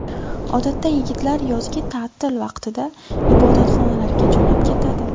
Odatda yigitlar yozgi ta’til vaqtida ibodatxonalarga jo‘nab ketadi.